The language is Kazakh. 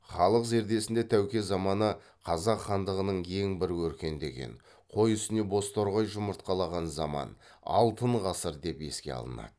халық зердесінде тәуке заманы қазақ хандығының ең бір өркендеген қой үстіне бозторғай жұмыртқалаған заман алтын ғасыр деп еске алынады